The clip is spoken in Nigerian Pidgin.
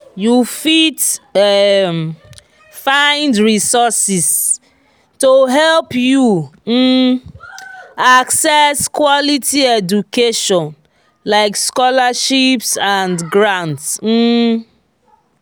you fit um find resources to help you um access quality education like scholarships and grants. um